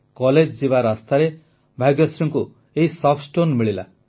college ଯିବା ରାସ୍ତାରେ ଭାଗ୍ୟଶ୍ରୀଙ୍କୁ ଏହି ସଫ୍ଟ ଷ୍ଟୋନ୍ସ ମିଳିଲା